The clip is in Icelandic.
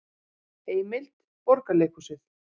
Heimild: Borgarleikhúsið